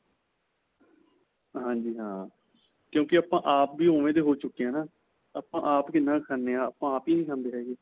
ਹਾਂਜੀ, ਹਾਂ ਕਿਉਂਕਿ ਆਪਾਂ ਆਪ ਵੀ ਉਂਵੇਂ ਦੇ ਹੋ ਚੁੱਕੇ ਹਾਂ ਨਾ. ਆਪਾਂ, ਆਪ ਕਿੰਨਾ ਕੁ ਖਾਂਦੇ ਹਾਂ, ਆਪਾਂ ਆਪ ਹੀ ਨਹੀਂ ਖਾਂਦੇ ਹੈਗੇ .